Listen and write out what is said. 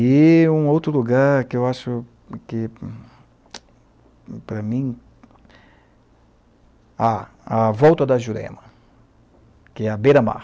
E um outro lugar que eu acho que, para mim, a a volta da Jurema, que é a beira-mar.